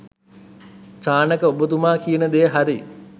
චානක ඔබතුමා කියන දෙය හරි.